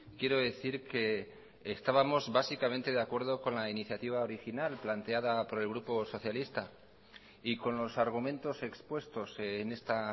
quiero decir que estábamos básicamente de acuerdo con la iniciativa original planteada por el grupo socialista y con los argumentos expuestos en esta